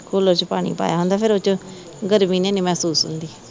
cooler ਚ ਪਾਣੀ ਪਾਇਆ ਹੁੰਦਾ ਫਿਰ ਓਦੇ ਚ ਗਰਮੀ ਨੀ ਇੰਨੀ ਮਹਿਸੂਸ ਹੁੰਦੀ